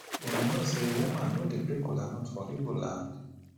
una no say woman no dey break kola nut for igbo land